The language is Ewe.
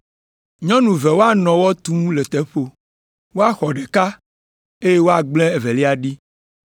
“Nyɔnu eve woanɔ wɔ tum le teƒo, woaxɔ ɖeka, eye woagblẽ evelia ɖi.